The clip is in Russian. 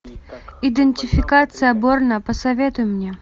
идентификация борна посоветуй мне